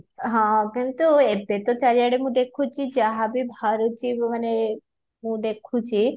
ହଁ କିନ୍ତୁ ଏବେ ତ ଚାରିଆଡେ ମୁଁ ଦେଖୁଛି ଯାହାଭି ବହରୁଛି ମାନେ ମୁଁ ଦେଖୁଛି